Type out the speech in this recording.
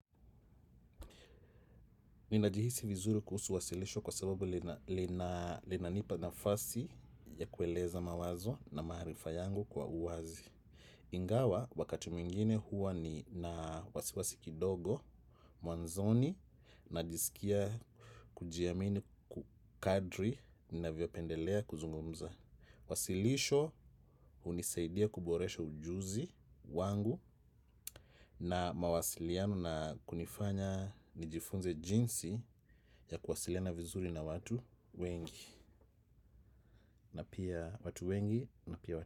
Ninajihisi vizuri kuhusu wasilisho kwa sababu linanipa nafasi ya kueleza mawazo na maarifa yangu kwa uwazi. Ingawa wakati mwingine huwa nina wasiwasi kidogo, mwanzoni najisikia kujiamini kadri ninavyopendelea kuzungumza. Wasilisho unisaidia kuboresha ujuzi wangu, na mawasiliano na kunifanya nijifunze jinsi ya kuwasiliana vizuri na watu wengi. Na pia watu wengi, na pia watu wengi.